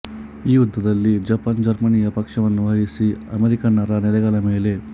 ಈ ಯುದ್ಧದಲ್ಲಿ ಜಪಾನ್ ಜರ್ಮನಿಯ ಪಕ್ಷವನ್ನು ವಹಿಸಿ ಅಮೆರಿಕನ್ನರ ನೆಲೆಗಳ ಮೇಲೆ